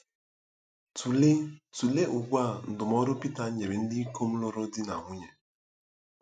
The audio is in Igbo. Tụlee Tụlee ugbu a ndụmọdụ Pita nyere ndị ikom lụrụ di na nwunye.